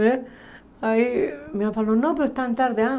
Né aí minha mãe falou, não, mas é tão tarde.